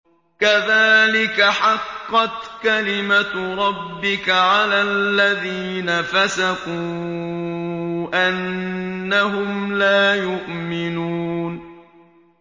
كَذَٰلِكَ حَقَّتْ كَلِمَتُ رَبِّكَ عَلَى الَّذِينَ فَسَقُوا أَنَّهُمْ لَا يُؤْمِنُونَ